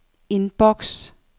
indboks